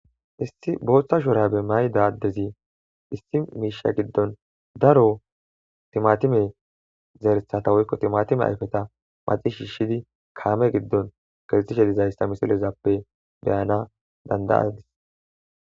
issi booththa shuura be may dadezi issi miisha giddon daro timatime zeertata woykko timatime ayfeta maci shiishidi kaame giddon garxishe dizayssa misilezappe beyana dandayadis